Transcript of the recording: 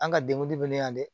An ka bɛ ne la dɛ